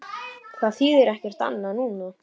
Það þýðir ekkert annað núna.